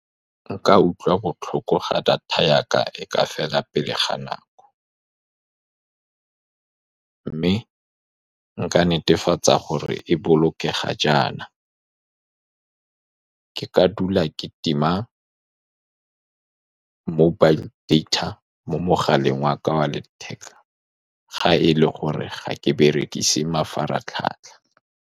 Nka utlwa botlhoko fa data ya ka e ka fela pele ga nako, mme nka netefatsa gore e bolokega jaana. Ke ka dula ke tima mobile data mo mogaleng wa ka wa letheka, fa e le gore ga ke berekise mafaratlhatlha.